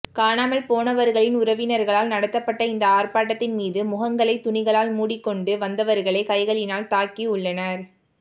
காணாமல் போனவர்களின் உறவினர்களால் நடத்தப்பட்ட இந்த ஆர்ப்பாட்டத்தின் மீது முகங்களை துணிகளால் மூடிக்கொண்டு வந்தவர்களே கைகளினால் தாக்கியுள்ளனர்